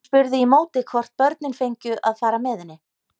Hún spurði í móti hvort börnin fengju að fara með henni.